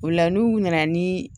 O la n'u nana ni